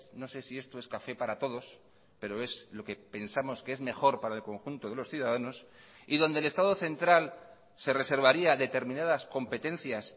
no sé si esto es café para todos pero es lo que pensamos que es mejor para el conjunto de los ciudadanos y donde el estado central se reservaría determinadas competencias